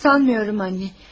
Sanmıyorum anne.